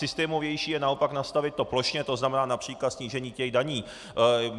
Systémovější je naopak nastavit to plošně, to znamená například snížení těch daní.